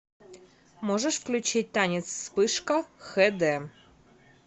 можешь включить танец вспышка хэ дэ